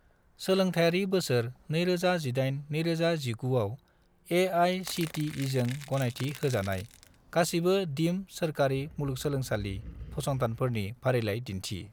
सोलोंथायारि बोसोर 2018 - 2019 आव ए.आइ.सि.टि.इ.जों गनायथि होजानाय गासिबो दिम्ड सोरखारि मुलुंगसोलोंसालि फसंथानफोरनि फारिलाइ दिन्थि।